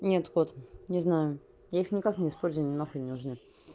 нет вот не знаю я их никак не использую они нахуй не нужны